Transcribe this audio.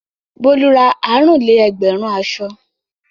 Bólú ra àrùn-lé-ẹgbẹ̀rún aṣọ.